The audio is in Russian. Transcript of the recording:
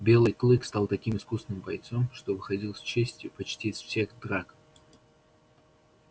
белый клык стал таким искусным бойцом что выходил с честью почти из всех драк